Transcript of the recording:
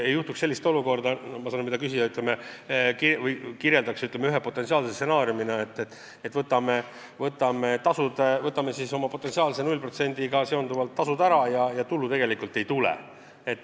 Ei tohi juhtuda nii, nagu küsija ühe potentsiaalse stsenaariumina kirjeldas, et me loobume tolle null protsendiga seonduvalt senisest maksuallikast ja tulu tegelikult ei tule.